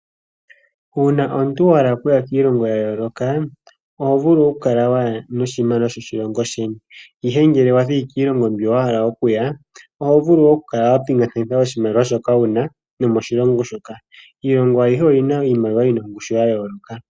Uuna omuntu wa hala okuya kiilongo ya yooloka oho vulu kuya noshimaliwa shoko shilongo sheni ihe ngele wayi kiilongo mbyo wa hala okuya oho vulu oku kala wapingakanitha oshimaliwa shoka wuna nomoshilongo shoka iilongo ayihe oyina iimaliwa yina ongushu ya yooloka.